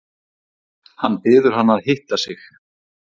Hann biður hana að hitta sig.